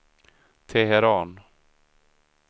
Teheran